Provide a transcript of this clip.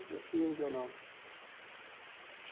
Dia sim, dia não.